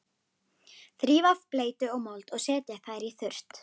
Þrífa af bleytu og mold og setja þær í þurrt.